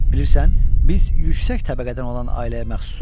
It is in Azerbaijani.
Bilirsən, biz yüksək təbəqədən olan ailəyə məxsusuq.